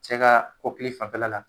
Cɛ kaa kɔkili fanfɛla la